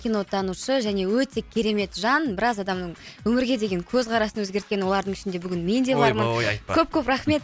кино танушы және өте керемет жан біраз адамның өмірге деген көзқарасын өзгерткен олардың ішінде бүгін мен де бармын ойбой айтпа көп көп рахмет